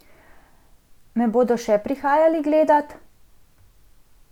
Me bodo še prihajali gledat?